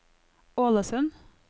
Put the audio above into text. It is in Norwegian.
Ålesund